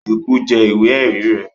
Eku jẹ ìwé ẹ̀rí rẹ̀